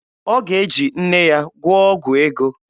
Ọ ga-eji nne ya gwụọ ọgwụ ego.